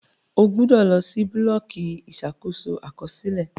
O gbọdọ lọ si bulọọki Ìṣàkóso Àkọsílẹ!